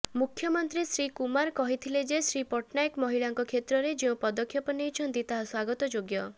ମୁଖ୍ୟମନ୍ତ୍ରୀ ଶ୍ରୀ କୁମାର କହିଥିଲେ ଯେ ଶ୍ରୀ ପଟ୍ଟନାୟକ ମହିଳାଙ୍କ କ୍ଷେତ୍ରରେ ଯେଉଁ ପଦକ୍ଷେପ ନେଇଛନ୍ତି ତାହା ସ୍ୱାଗତଯୋଗ୍ୟ